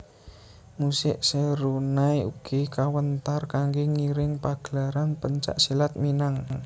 Musik serunai ugi kawéntar kanggé ngiring pagelaran pencak silat Minang